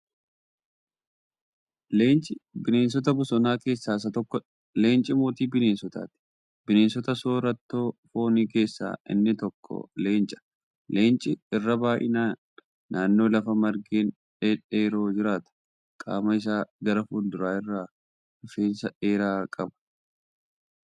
Leenci bineensota bosonaa keessaa isa tokkoodha. Leenci mootii bineensotaati. Bineensota soorattoo fooni keessaa inni tokko leenca. Leenci irra baay'inaan naannoo lafa margeen dhedheeroo jiraata. Qaama isaa gara fulduraa irraa rifeensa dheeraa qaba.